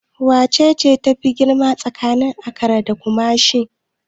Wacce tafi girma tsakanin Accra da Kumasi?